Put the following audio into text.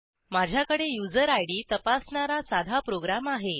माझ्याकडे user ID तपासणारा साधा प्रोग्रॅम आहे